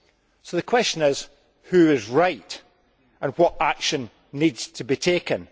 So the question is who is right and what action needs to be taken?